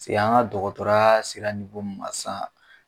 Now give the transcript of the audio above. an ka dɔgɔtɔrɔya sera mun ma sisan.